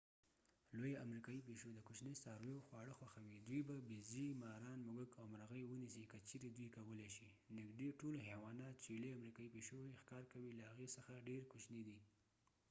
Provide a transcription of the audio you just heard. لويه امريكايى پيشو د کوچني څارویو خواړه خوښوي.دوی به بیزې، ماران، موږک او مرغۍ ونیسي که چیرې دوی کولی شي.نږدې ټول حيوانات چې لویه امریکایي پیشو یې ښکار کوي له هغې څخه ډیر کوچني دي